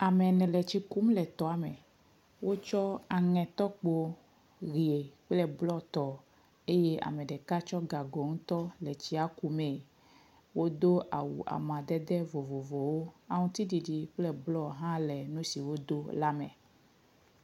Ame ene le tsi kum le tɔa me. Wotsɔ aŋetɔkpo ʋie kple blɔtɔ eye ame ɖeka tsɔ gago ŋutɔ le tsia kum me, wodo awu amadede vovovowo, aŋuti ɖiɖi kple blɔ hã le nu si wodo la me.